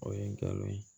O ye n galon ye